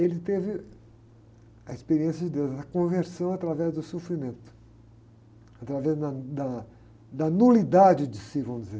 ele teve a experiência de Deus, a conversão através do sofrimento, através da, da, da nulidade de si, vamos dizer.